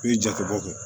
I bɛ jate bɔ kɛ